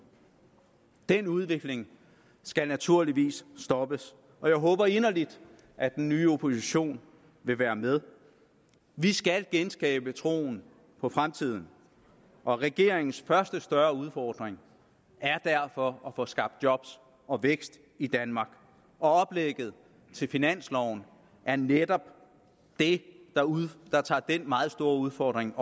den udvikling skal naturligvis stoppes og jeg håber inderligt at den nye oppositionen vil være med vi skal genskabe troen på fremtiden og regeringens første større udfordring er derfor at få skabt job og vækst i danmark og oplægget til finansloven er netop det der tager den meget store udfordring